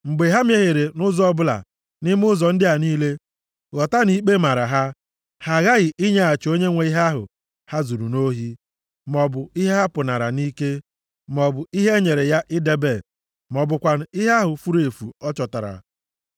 Mgbe ha mehiere nʼụzọ ọbụla nʼime ụzọ ndị a niile, ghọta na ikpe mara ha. Ha aghaghị inyeghachi onye nwe ihe ahụ ha zuru nʼohi, maọbụ ihe ha pụnara nʼike, maọbụ ihe e nyere ya idebe, ma ọ bụkwanụ ihe ahụ furu efu ọ chọtara,